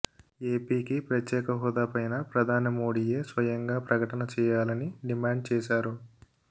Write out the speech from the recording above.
ఏపీకి ప్రత్యేక హోదా పైన ప్రధాని మోడీయే స్వయంగా ప్రకటన చేయాలని డిమాండ్ చేశారు